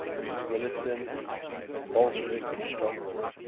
militant bolshevik stronghold